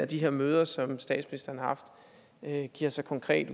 de her møder som statsministeren har haft giver sig konkret